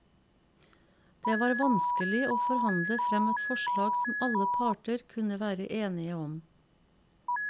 Det var vanskelig å forhandle frem et forslag som alle parter kunne være enige om.